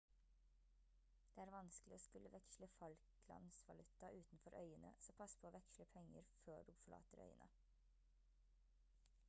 det er vanskelig å skulle veksle falklandsvaluta utenfor øyene så pass på å veksle penger før du forlater øyene